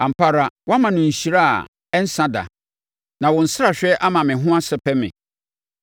Ampa ara, woama no nhyira a ɛnsa da na wo nsrahwɛ ama me ho ahosɛpɛ me.